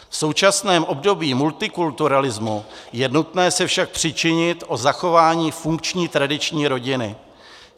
V současném období multikulturalismu je nutné se však přičinit o zachování funkční tradiční rodiny.